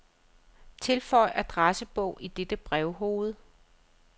Tilføj adressebog i dette brevhoved.